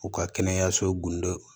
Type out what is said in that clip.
U ka kɛnɛyasow gundo